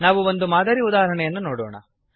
ನಾವು ಒಂದು ಮಾದರಿ ಉದಾಹರಣೆಯನ್ನು ನೋಡೋಣ